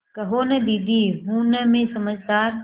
कहो न दीदी हूँ न मैं समझदार